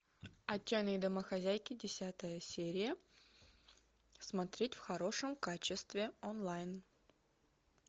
отчаянные домохозяйки десятая серия смотреть в хорошем качестве онлайн